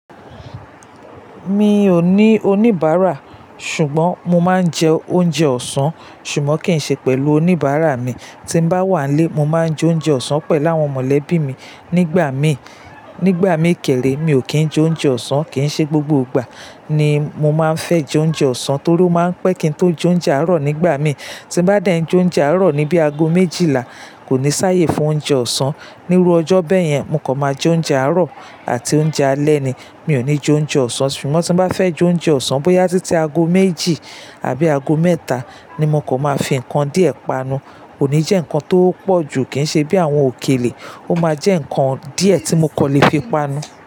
Mi ò ní oníbàárà ṣùgbọ́n mo máa ń jẹ oúnjẹ ọ̀sán, ṣùgbọ́n kì í ṣe pẹ̀lú oníbàárà mi. Tí n bá wà nlé, mo máa ń jẹ oúnjẹ ọ̀sán pẹ̀lú àwọn mọ̀lẹ́bí mi. Nígbà mí, nígbà mí kẹ́rẹ́, mi ò kín jẹ oúnjẹ ọ̀sán, kì í ṣe gbogbo ìgbà ni mo máa ń fẹ́ jẹ oúnjẹ ọ̀sán torí ó máa ń pẹ́ kí n tó jẹ oúnjẹ àárọ̀ nígbà mí. Tí n bá dẹ́ njẹ oúnjẹ àárọ̀ ní bí i ago méjìlá, kò ní sáré fún oúnjẹ ọ̀sán. Níru ọjọ́ bẹ́ẹ̀ yẹn, mo kò máa jẹ oúnjẹ àárọ̀ àti oúnjẹ alẹ́ ni. Mi ò ní jẹ oúnjẹ ọ̀sán, ṣùgbọ́n tí bá fẹ́ jẹ oúnjẹ ọ̀sán bóyá títí ago méjì àbí ago mẹ́ta ni mo kò máa fi nǹkan díẹ̀ panu. Kò ní jẹ́ nǹkan tó pọ̀ ju, kì í ṣe bí àwọn òkèlè, ó máa jẹ́ nǹkan díẹ̀ tí mo kò lè fi panu.